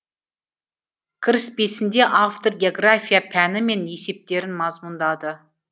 кіріспесінде автор география пәні мен есептерін мазмұндады